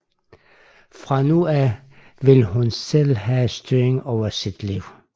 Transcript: Fra nu af vil hun selv have styringen over sit liv